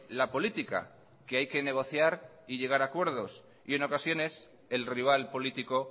la política que hay que negociar y llegar acuerdos y en ocasiones el rival político